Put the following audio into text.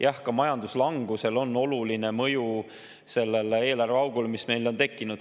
Jah, ka majanduslangusel on oluline mõju sellele eelarveaugule, mis meil on tekkinud.